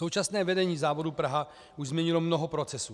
Současné vedení závodu Praha už změnilo mnoho procesů.